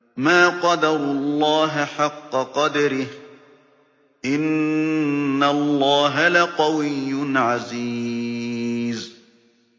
مَا قَدَرُوا اللَّهَ حَقَّ قَدْرِهِ ۗ إِنَّ اللَّهَ لَقَوِيٌّ عَزِيزٌ